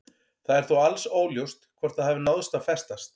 Það er þó alls óljóst hvort það hafi náð að festast.